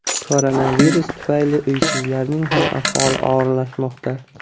Koronavirus tufayli uysizlarning ham ahvoli og‘irlashmoqda.